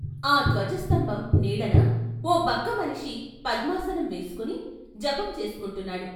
ఆ ధ్వజస్తంభం నీడన ఓ బక్క మనిషి పద్మాసనం వేసుకుని జపం చేసుకుంటున్నాడు.